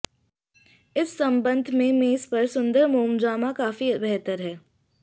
इस संबंध में मेज पर सुंदर मोमजामा काफी बेहतर है